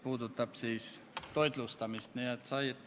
Jürgen Ligi, palun!